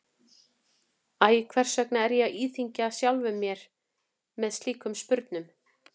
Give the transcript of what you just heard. Æ, hvers vegna er ég að íþyngja sjálfum mér með slíkum spurnum?